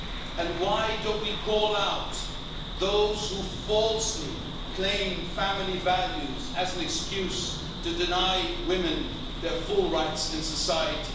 And why don't we call out those who falsely claim family values as an excuse to deny women their full rights in society?